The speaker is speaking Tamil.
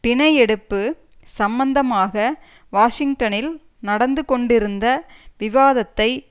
பினையெடுப்பு சம்பந்தமாக வாஷிங்டனில் நடந்துகொண்டிருந்த விவாதத்தை